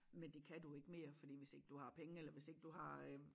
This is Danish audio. Men det kan du ikke mere fordi hvis ikke du har penge eller hvis ikke du har øh